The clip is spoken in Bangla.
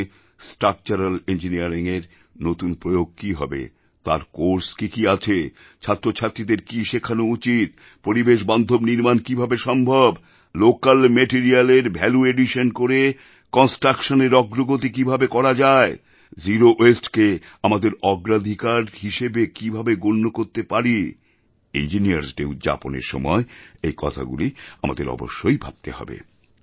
এখানে স্ট্রাকচারাল ইঞ্জিনিয়ারিংয়ের নতুন প্রয়োগ কি হবেতার কোর্স কী কী আছে ছাত্রছাত্রীদের কি শেখানো উচিত পরিবেশবান্ধবনির্মাণ কীভাবে সম্ভব লোকাল মেটারিয়ালের ভ্যালু এডিশন করে কন্সট্রাকশনের অগ্রগতিকীভাবে করা যায় জেরো Wasteকে আমাদের অগ্রাধিকার হিসেবে কীভাবে গণ্য করতে পারিইঞ্জিনিয়ার্স ডে উদযাপনের সময় এই কথাগুলি আমাদের অবশ্যই ভাবতে হবে